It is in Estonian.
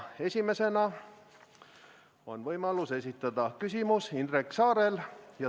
Esimesena on võimalus esitada küsimus Indrek Saarel.